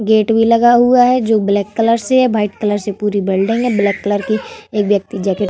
gate भी लगा हुआ है जो ब्लैक कलर से है वाइट कलर से पूरी बल्डिंग है ब्लैक कलर की एक व्यक्ति जैकेट --